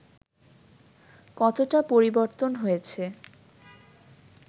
কতোটা পরিবর্তন হয়েছে